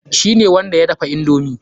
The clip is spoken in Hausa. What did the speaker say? Shi ne wanda ya dafa indomi.